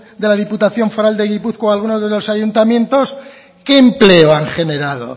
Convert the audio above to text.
de la diputación foral de gipuzkoa alguna de los ayuntamientos qué empleo han generado